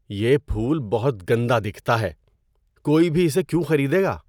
یہ پھول بہت گندا دکھتا ہے۔ کوئی بھی اسے کیوں خریدے گا؟